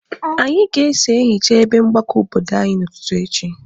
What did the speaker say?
Anyị ga-eso ehicha ebe mgbakọ obodo anyị n'ụtụtụ echi.